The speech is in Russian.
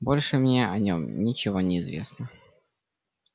больше мне о нём ничего не известно